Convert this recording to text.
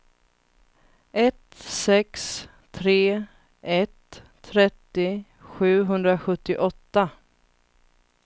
ett sex tre ett trettio sjuhundrasjuttioåtta